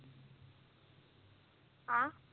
ਹਾ